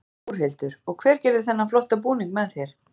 Þórhildur: Og hver gerði þennan flotta búning með þér?